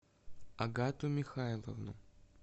агату михайловну